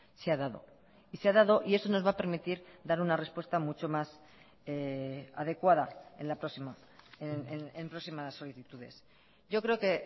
se ha dado y se ha dado y eso nos va a permitir dar una respuesta mucho más adecuada en la próxima en próximas solicitudes yo creo que